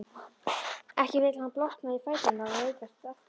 Ekki vill hann blotna í fæturna og veikjast aftur.